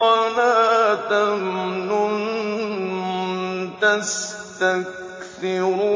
وَلَا تَمْنُن تَسْتَكْثِرُ